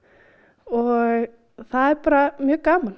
og það er bara mjög gaman